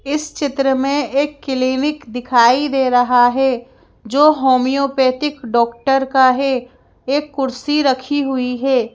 इस चित्र में एक क्लीनिक दिखाई दे रहा है जो होमियोपैथिक डॉक्टर का है एक कुर्सी रखी हुई है।